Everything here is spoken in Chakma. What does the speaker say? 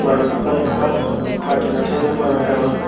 manus baluko agon pasjon na so jon agon.